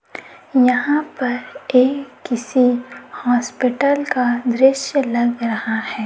यहां पर ये किसी हॉस्पिटल का दृश्य लग रहा है।